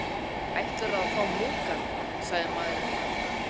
Ætlarðu að fá Moggann? sagði maðurinn hranalega.